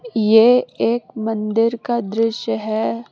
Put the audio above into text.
ये एक मंदिर का दृश्य है।